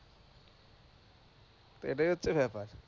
তো এটাই হচ্ছে ব্যাপার,